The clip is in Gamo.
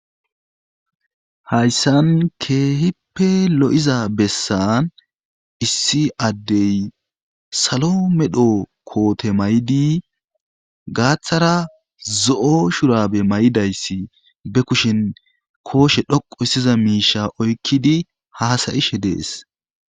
Hayssan keehippe lo7iza bessan issi addey salo medho koote may7di gaaththara zo7o shurabe may7idayssi be kushin kooshe dhoqu issiza miisha oykkidi haasayishe dees.